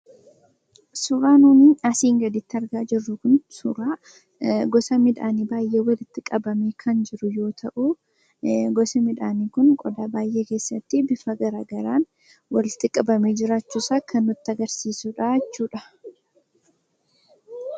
Suuraan nuti asii gaditti argaa jirru kun suuraa gosa midhaanii walitti qabamee kan jiru yoo ta'u gosi midhaanii kun qodaa baay'ee keessatti bifa garaagaraan walitti qabamee jiraachuusaa kan nutti agarsiisuu dha jechuu dha.